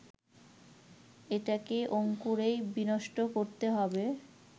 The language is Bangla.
এটাকে অঙ্কুরেই বিনষ্ট করতে হবে